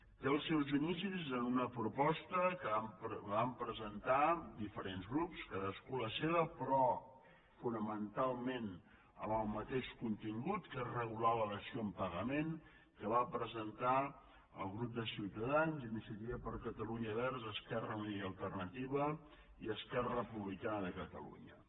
té els seus inicis en una proposta que van presentar diferents grups cadascú la seva però fonamentalment amb el mateix contingut que és regular la dació en pagament que van presentar el grup de ciutadans iniciativa per catalunya verds esquerra unida i alternativa i esquerra republicana de catalunya